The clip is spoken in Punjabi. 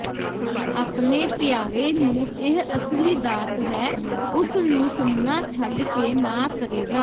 ਆਪਣੇ ਪਿਆਰੇ ਨੂੰ ਇਹ ਅਸਲੀ ਦਾਤ ਹੈ ਉਸ ਨੂੰ ਸੁਣਨਾ ਛੱਡ ਕੇ ਨਾ ਕਰੇਗਾ